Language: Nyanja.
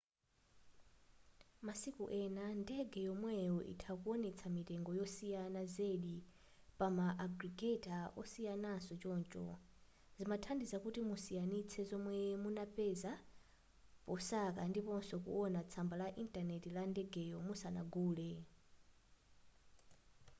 masiku ena ndege yomweyo itha kuwonetsa mitengo yosiyana zedi pa ma agregator osiyanaso choncho zimathandiza kuti musiyanitse zomwe munapeza posaka ndiponso kuwona tsamba la intanenti la ndegeyo musanagule